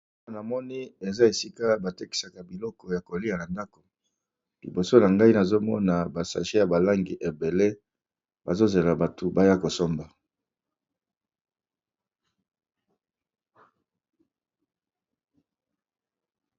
awa na moni eza esika batekisaka biloko ya kolia na ndako liboso na ngai nazomona basage ya balangi ebele bazozela batu baya kosomba